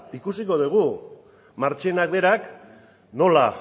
ikusiko dugu marchenak berak nola